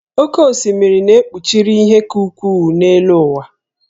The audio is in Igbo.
Oké osimiri na kpuchiri ihe ka ukwuu n'elu ụwa